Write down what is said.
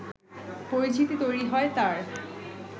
পরিচিতি তৈরি হয় তাঁর